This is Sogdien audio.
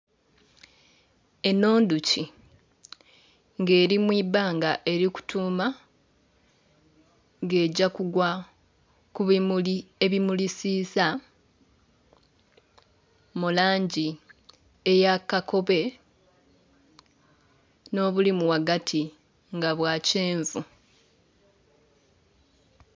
Eno ndhuki nga eri mu ibbanga eri kutuuma nga egya kugwa ku bimuli ebimulisiisa mu langi eya kakobe n'obulimu ghagati nga bwa kyenvu.